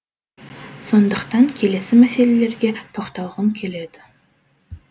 сондықтан келесі мәселелерге тоқталғым келеді